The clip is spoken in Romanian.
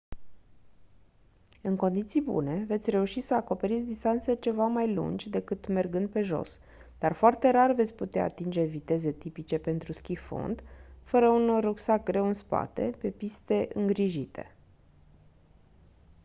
în condiții bune veți reuși să acoperiți distanțe ceva mai lungi decât mergând pe jos dar foarte rar veți putea atinge viteze tipice pentru schi fond fără un rucsac greu în spate pe piste îngrijite